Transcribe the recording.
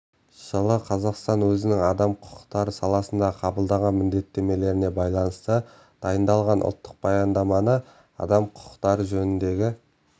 жылы қазақстан өзінің адам құқықтары саласында қабылдаған міндеттемелеріне байланысты дайындалған ұлттық баяндаманы адам құқықтары жөніндегі